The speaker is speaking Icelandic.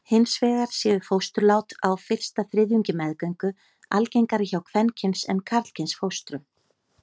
Hins vegar séu fósturlát á fyrsta þriðjungi meðgöngu algengari hjá kvenkyns en karlkyns fóstrum.